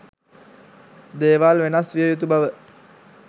දේවල් වෙනස් විය යුතු බව